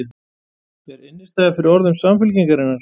Er innistæða fyrir orðum Samfylkingarinnar?